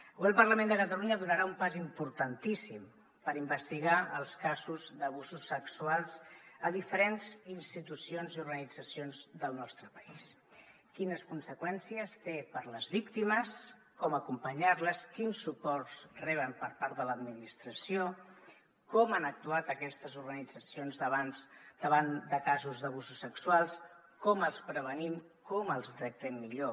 avui el parlament de catalunya donarà un pas importantíssim per investigar els casos d’abusos sexuals a diferents institucions i organitzacions del nostre país quines conseqüències té per a les víctimes com acompanyar les quins suports reben per part de l’administració com han actuat aquestes organitzacions davant de casos d’abusos sexuals com els prevenim com els tractem millor